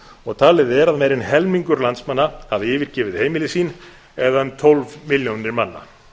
og talið að er ára en helmingur landsmanna hafi yfirgefið heimili sín eða um tólf milljónir manna